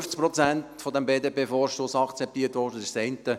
Es wurden nur 50 Prozent dieses BDP-Vorstosses akzeptiert, das ist das eine.